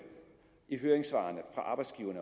i høringssvarene